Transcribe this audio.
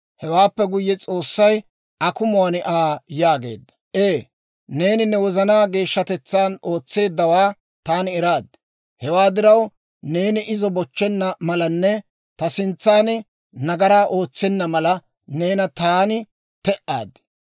Hewaappe guyye, S'oossay akumuwaan Aa yaageedda; «Ee, neeni ne wozanaa geeshshatetsaan ootseeddawaa taani eraad; hewaa diraw, neeni izo bochchenna malanne ta sintsan nagaraa ootsenna mala neena taani te'aad.